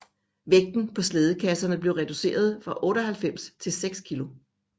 Vægten på slædekasserne blev reducerede fra 98 til 6 kg